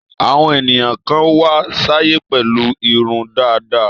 Àwọn ènìyàn kan wá sáyé pẹ̀lú irun dàda.